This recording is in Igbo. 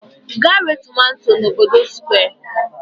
Gaa ree tomato n'obodo Square!